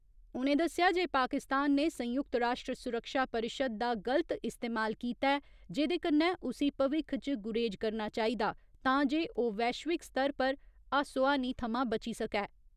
उ'नें दस्सेआ जे पाकिस्तान ने संयुक्त राश्ट्र सुरक्षा परिशद दा गलत इस्तेमाल कीता ऐ, जेह्‌दे कन्नै उसी भविक्ख च गुरेज करना चाहिदा तां जे ओ वैश्विक स्तर पर हास्सोहानी थमां बची सकै।